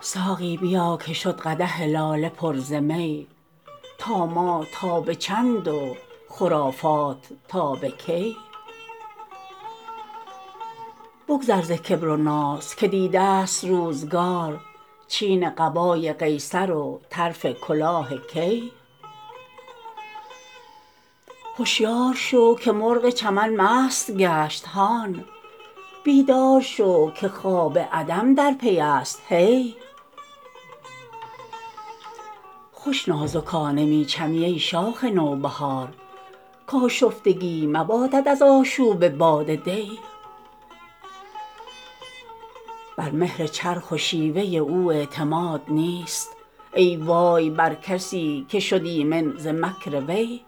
ساقی بیا که شد قدح لاله پر ز می طامات تا به چند و خرافات تا به کی بگذر ز کبر و ناز که دیده ست روزگار چین قبای قیصر و طرف کلاه کی هشیار شو که مرغ چمن مست گشت هان بیدار شو که خواب عدم در پی است هی خوش نازکانه می چمی ای شاخ نوبهار کآشفتگی مبادت از آشوب باد دی بر مهر چرخ و شیوه او اعتماد نیست ای وای بر کسی که شد ایمن ز مکر وی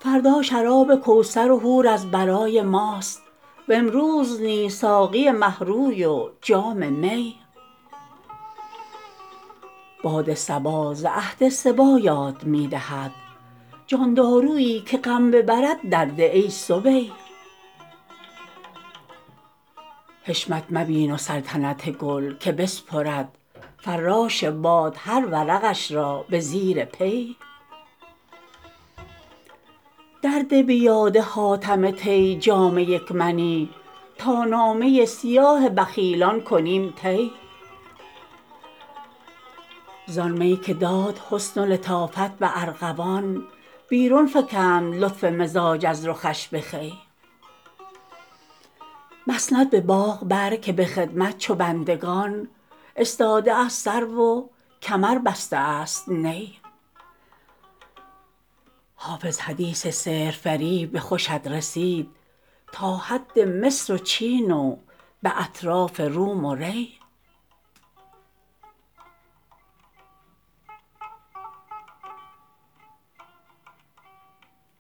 فردا شراب کوثر و حور از برای ماست و امروز نیز ساقی مه روی و جام می باد صبا ز عهد صبی یاد می دهد جان دارویی که غم ببرد درده ای صبی حشمت مبین و سلطنت گل که بسپرد فراش باد هر ورقش را به زیر پی درده به یاد حاتم طی جام یک منی تا نامه سیاه بخیلان کنیم طی زآن می که داد حسن و لطافت به ارغوان بیرون فکند لطف مزاج از رخش به خوی مسند به باغ بر که به خدمت چو بندگان استاده است سرو و کمر بسته است نی حافظ حدیث سحرفریب خوشت رسید تا حد مصر و چین و به اطراف روم و ری